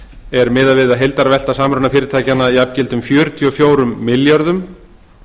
er miðað við að heildarvelta samrunafyrirtækjanna jafngildi um fjörutíu og fjórum milljörðum